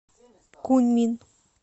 куньмин